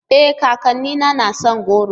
E! kakanni na son goro.